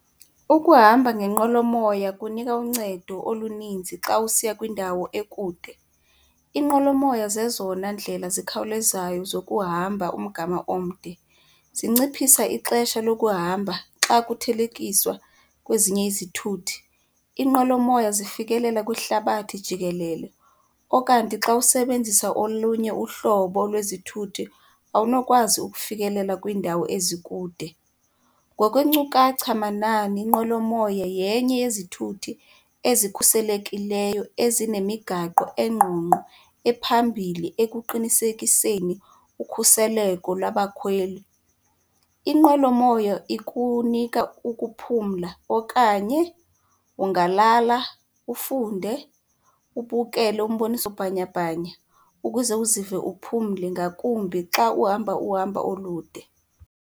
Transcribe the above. Ukuhamba ngenqwelomoya kunika uncedo oluninzi xa usiya kwindawo ekude. Iinqwelomoya zezona ndlela zikhawulezayo zokuhamba umgama omde, zinciphisa ixesha lokuhamba xa kuthelekiswa kwezinye izithuthi. Inqwelomoya zifikelela kwihlabathi jikelele okanti xa usebenzisa olunye uhlobo lwezithuthi awunokwazi ukufikelela kwiindawo ezikude. Ngokwenkcukacha manani inqwelomoya yenye yezithuthi ezikhuselekileyo, ezinemigaqo engqongqo ephambili ekuqinisekiseni ukhuseleko labakhweli. Inqwelomoya ikunika ukuphumla okanye ungalala, ufunde, ubukele umboniso bhanyabhanya ukuze uzive uphumle ngakumbi xa uhamba uhambo olude.